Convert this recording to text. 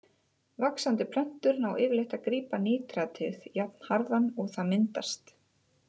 Vaxandi plöntur ná yfirleitt að grípa nítratið jafnharðan og það myndast.